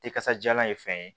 Tɛ kasajalan ye fɛn ye